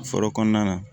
Foro kɔnɔna na